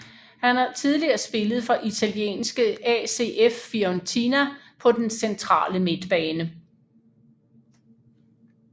Han har tidligere spillet for italienske ACF Fiorentina på den centrale midtbane